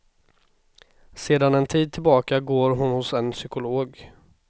Sedan en tid tillbaka går hon hos en psykolog.